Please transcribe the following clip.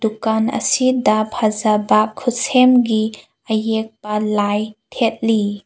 ꯗꯨꯀꯟ ꯑꯁꯤꯗ ꯐꯖꯕ ꯈꯨꯠꯁꯦꯝꯒꯤ ꯑꯌꯦꯛꯄ ꯂꯥꯢ ꯊꯦꯠꯂꯤ꯫